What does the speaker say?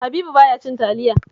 Habibu ba ya cin taliya